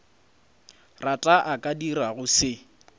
rata a ka dirago se